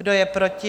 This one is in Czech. Kdo je proti?